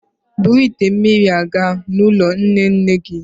Buru ite mmiri a gaa n'ụlọ nne nne gị